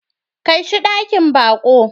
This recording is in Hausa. Kai shi dakin baƙo.